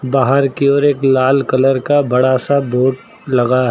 बाहर केवल एक लाल कलर का बड़ा सा बोर्ड लगा है।